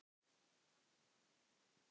Gefðu allt annað frá þér.